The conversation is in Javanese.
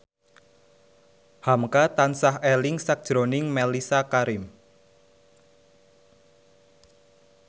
hamka tansah eling sakjroning Mellisa Karim